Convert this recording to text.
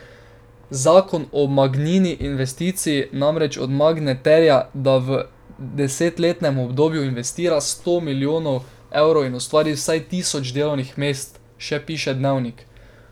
Zakon o Magnini investiciji namreč od Magne terja, da v desetletnem obdobju investira vsaj sto milijonov evrov in ustvari vsaj tisoč delovnih mest, še piše Dnevnik.